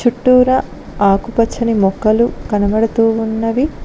చుట్టూరా ఆకుపచ్చని మొక్కలు కనబడుతూ ఉన్నవి.